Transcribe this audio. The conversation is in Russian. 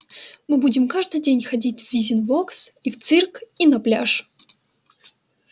мы будем каждый день ходить в визивокс и в цирк и на пляж